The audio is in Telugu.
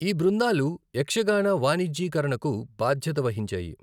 ఈ బృందాలు యక్షగాన వాణిజ్యీకరణకు బాధ్యత వహించాయి.